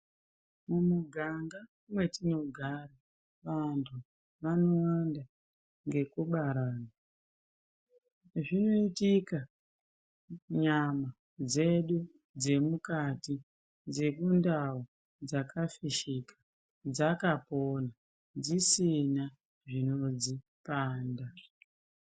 Mumiganga matinogara vantu vanowanda ngekubarana. Zvinoitika nyama dzedu dzemukati dzekundau dzakafishika dzakapona dzisina zvinodzipanda.